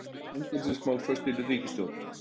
Fangelsismál föst í ríkisstjórn